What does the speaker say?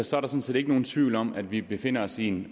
sådan set ikke nogen tvivl om at vi befinder os i en